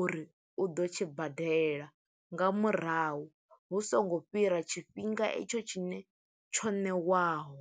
uri u ḓo tshi badela nga murahu, hu songo fhira tshifhinga i tsho tshine tsho ṋewaho.